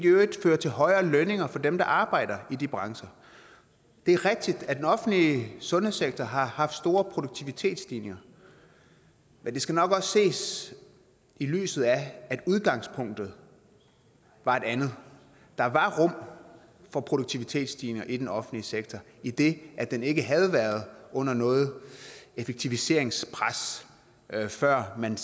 øvrigt fører til højere lønninger for dem der arbejder i de brancher det er rigtigt at den offentlige sundhedssektor har haft store produktivitetsstigninger men det skal nok også ses i lyset af at udgangspunktet var et andet der var rum for produktivitetsstigninger i den offentlige sektor idet den ikke havde været under noget effektiviseringspres før man